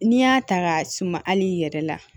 N'i y'a ta ka suma hali i yɛrɛ la